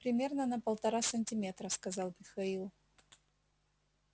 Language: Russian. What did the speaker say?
примерно на полтора сантиметра сказал михаил